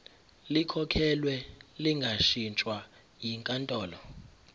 likhokhelwe lingashintshwa yinkantolo